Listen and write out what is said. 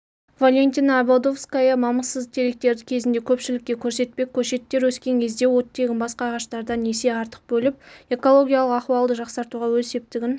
валентина ободовская мамықсыз теректерді кезінде көпшілікке көрсетпек көшеттер өскен кезде оттегін басқа ағаштардан есе артық бөліп экологиялық ахуалды жақсартуға өз септігін